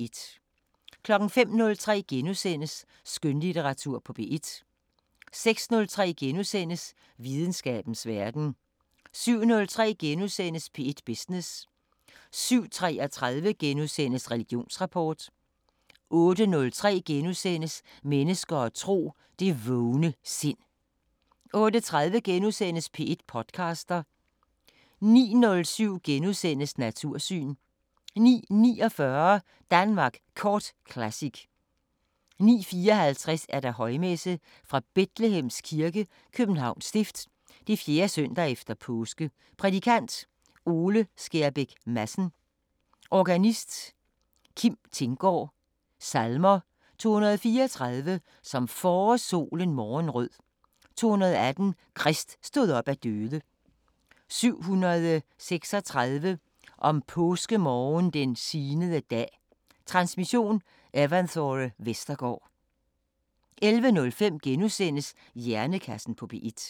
05:03: Skønlitteratur på P1 * 06:03: Videnskabens Verden * 07:03: P1 Business * 07:33: Religionsrapport * 08:03: Mennesker og tro: Det vågne sind * 08:30: P1 podcaster * 09:07: Natursyn * 09:49: Danmark Kort Classic 09:54: Højmesse - Fra Bethlehems Kirke, Københavns Stift, 4. søndag efter påske. Prædikant: Ole Skjerbæk Madsen. Organist: Kim Thinggaard. Salmer: 234: Som forårssolen morgenrød 218: Krist stod op af døde 736: Om påskemorgen den signede dag Transmission: Evanthore Vestergaard. 11:05: Hjernekassen på P1 *